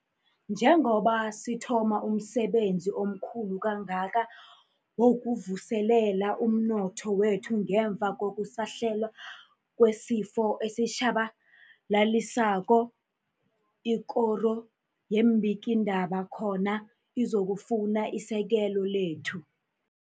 Njengoba sithoma umsebenzi omkhulu kangaka wokuvuselela umnotho wekhethu ngemva kokusahlela kwesifo esitjhabalalisako, ikoro yeembikiindaba khona izokufuna isekelo lethu